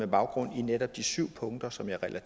baggrund i netop de syv punkter som jeg